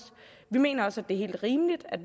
vi mener også det er helt rimeligt at